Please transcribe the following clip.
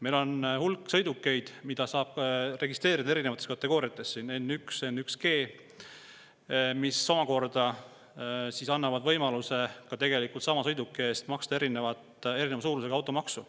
Meil on hulk sõidukeid, mida saab registreerida erinevates kategooriates, N1 ja N1G, mis annab võimaluse tegelikult maksta samasuguse sõiduki eest erineva suurusega automaksu.